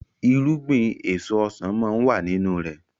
irúgbìn èso ọsán món wá nínú rẹ